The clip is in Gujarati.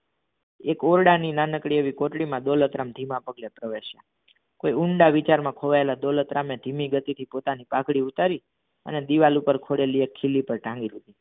એક ઔરડાની નાનકડી એવી દોલતરામ ધીમા પગેળલે પ્રવેસ્યા કોઈ ઊંડા વિચાર મા ખોયલા દોલતરામ એ ધીમી ગતિ થી તમની પગઢી ઉતારી અને દીવાલ પર ખીલ્લી પર તંગી દીધી